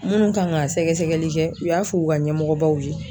Munnu kan ka sɛgɛsɛgɛli kɛ u y'a f'u ka ɲɛmɔgɔbaw ye